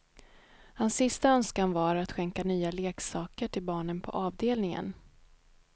Hans sista önskan var att skänka nya leksaker till barnen på avdelningen.